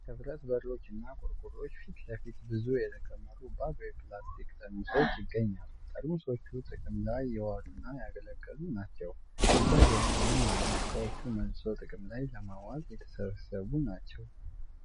ከብረት በሮችና ቆርቆሮዎች ፊት ለፊት ብዙ የተከመሩ ባዶ የፕላስቲክ ጠርሙሶች ይገኛሉ። ጠርሙሶቹ ጥቅም ላይ የዋሉና ያገለገሉ ናቸው። ቢጫ ጀሪካንም አለ። እቃዎቹ መልሶ ጥቅም ላይ ለማዋል የተሰበሰቡ ናቸው።